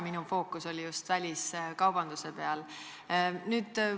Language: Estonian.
Minu fookus oli just väliskaubandusel.